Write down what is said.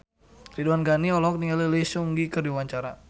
Ridwan Ghani olohok ningali Lee Seung Gi keur diwawancara